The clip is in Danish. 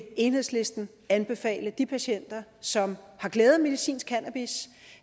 enhedslisten anbefale de patienter som har glæde af medicinsk cannabis